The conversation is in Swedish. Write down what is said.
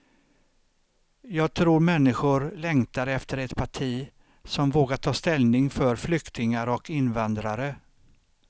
Jag tror människor längtar efter ett parti som vågar ta ställning för flyktingar och invandrare.